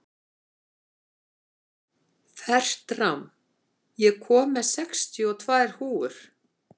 Fertram, ég kom með sextíu og tvær húfur!